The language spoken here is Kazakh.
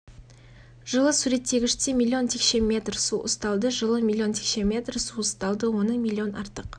жылы суреттегіште миллион текше метр су ұсталды жылы миллион текше метр су ұсталды оның миллион артық